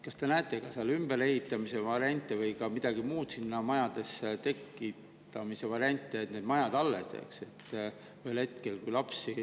Kas te näete varianti, et need majad ehitatakse ümber või et sinna midagi muud tekitatakse, et need majad alles jääksid?